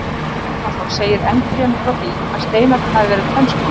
Jón Árnason segir enn fremur frá því að steinarnir hafi verið tvenns konar.